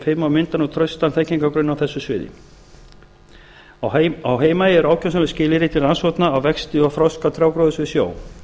fimm og mynda nú traustan þekkingargrunn á þessu sviði á heimaey eru ákjósanleg skilyrði til rannsókna á vexti og þroska trjágróðurs við sjó þar